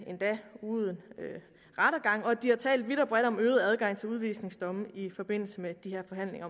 uden rettergang og de har talt vidt og bredt om øget adgang til udvisningsdomme i forbindelse med de her forhandlinger